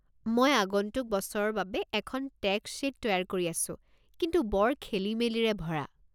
মই আগন্তুক বছৰৰ বাবে এখন টেক্স শ্বীট তৈয়াৰ কৰি আছোঁ, কিন্তু বৰ খেলিমেলিৰে ভৰা।